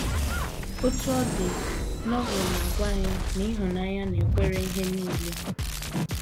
Otú ọ dị, Novel na - agwa anyị na ịhụnanya “ na - ekwere ihe nile. ”